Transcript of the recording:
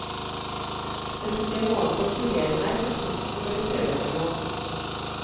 Det tok en måned å kurere meg for frykten for å kjøre over noen.